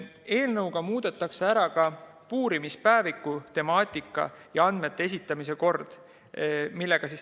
Eelnõuga muudetakse ka puurimispäeviku temaatikat ja andmete esitamise korda.